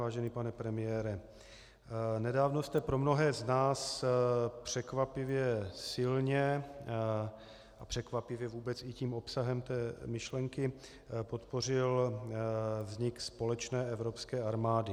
Vážený pane premiére, nedávno jste pro mnohé z nás překvapivě silně a překvapivě vůbec i tím obsahem té myšlenky podpořil vznik společné evropské armády.